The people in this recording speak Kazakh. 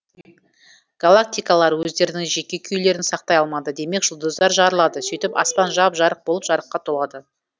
галактикалар өздерінің жеке күйлерін сақтай алмайды демек жұлдыздар жарылады сөйтіп аспан жап жарық болып жарыққа толады